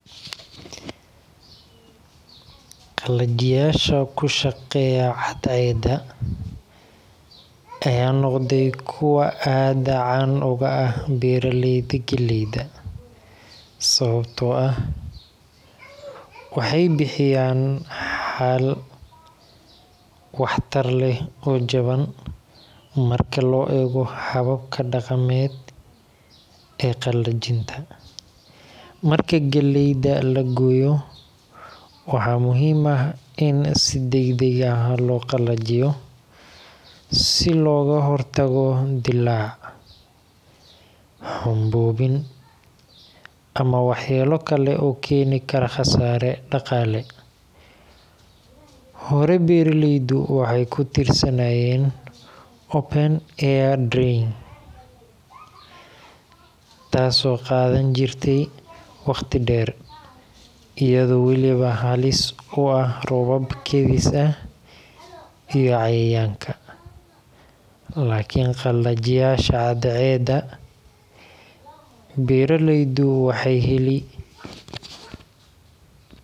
Qalajiyaasha ku shaqeeya cadceedda ayaa noqday kuwo aad caan uga ah beeraleyda galleyda, sababtoo ah waxay bixiyaan xal waxtar leh oo jaban marka loo eego hababka dhaqameed ee qalajinta. Marka galleyda la gooyo, waxaa muhiim ah in si degdeg ah loo qalajiyo si looga hortago dillaac, xumboobid, ama waxyeello kale oo keeni kara khasaare dhaqaale. Hore, beeraleydu waxay ku tiirsanaayeen open-air drying taasoo qaadan jirtay waqti dheer, iyadoo weliba halis u ah roobab kedis ah iyo cayayaanka. Laakiin qalajiyaasha cadceedda, beeraleydu waxay heli.